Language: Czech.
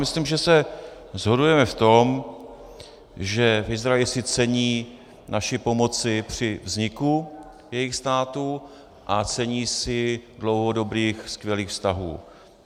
Myslím, že se shodujeme v tom, že v Izraeli si cení naší pomoci při vzniku jejich státu a cení si dlouhodobých skvělých vztahů.